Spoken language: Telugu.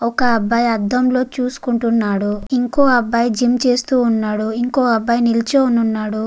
ఒక అబ్బయి అద్దం లో చూసుకుంటున్నాడు. ఇంకో అబ్బాయి జిమ్ చేస్తూ ఉన్నాడు. ఇంకో అబ్బాయి జిమ్ చేస్తూ ఉన్నాడు.